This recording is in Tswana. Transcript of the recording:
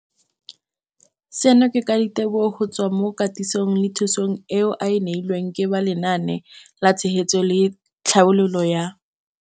Seno ke ka ditebogo go tswa mo katisong le thu song eo a e neilweng ke ba Lenaane la Tshegetso le Tlhabololo ya